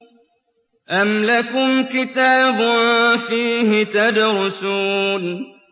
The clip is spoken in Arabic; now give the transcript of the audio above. أَمْ لَكُمْ كِتَابٌ فِيهِ تَدْرُسُونَ